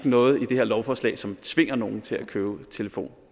noget i det her lovforslag som tvinger nogen til at købe telefon